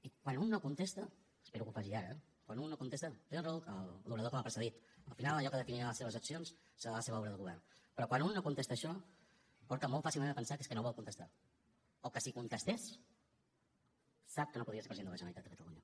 i quan un no contesta espero que ho faci ara quan un no contesta té raó l’orador que m’ha precedit al final allò que definirà les seves accions serà la seva obra de govern però quan un no contesta això porta molt fàcilment a pensar que és que no ho vol contestar o que si contestés sap que no podria ser president de la generalitat de catalunya